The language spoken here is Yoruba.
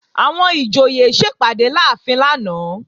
Àwọn ìjòyè sẹpàdé láàfin lánàá